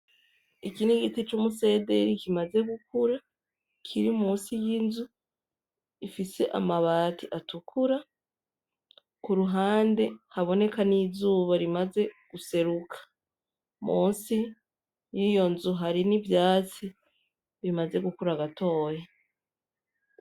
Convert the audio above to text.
Iki ni igiti c'umusederi kimaze gukura kiri musi y'inzu gifise amabati atukura kuruhande haboneka n'izuba rimaze guseruka musi yiyonzu harimwo ivyatsi bimaze gukura gatoya.